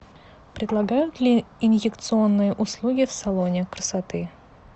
предлагают ли инъекционные услуги в салоне красоты